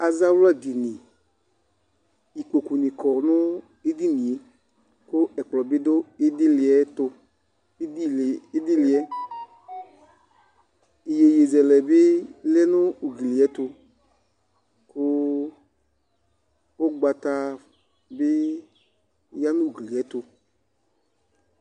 Azawladini. Ikpokunɩ kɔ nʋ edini yɛ kʋ ɛkplɔ bɩ dʋ ɩdɩlɩ yɛ tʋ. Ɩdɩlɩ, ɩdɩlɩ yɛ, iyeyezɛlɛ bɩ lɛ nʋ ugli yɛ tʋ kʋ ʋgbata bɩ ya nʋ ugli yɛ tʋ.